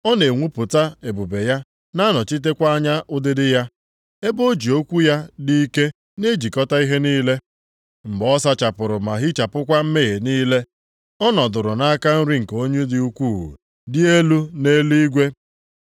Ọ na-enwupụta ebube ya na-anọchitekwa anya ụdịdị ya, ebe o ji okwu ya dị ike na-ejikọta ihe niile. Mgbe ọ sachapụrụ ma hichapụkwa mmehie niile, ọ nọdụrụ nʼaka nri nke Onye dị ukwuu, dị elu nʼeluigwe.